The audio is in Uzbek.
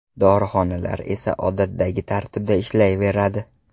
Dorixonalar esa odatdagi tartibda ishlayveradi.